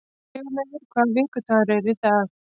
Sigurleifur, hvaða vikudagur er í dag?